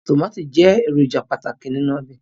Tomati jẹ eroja pataki ninu obe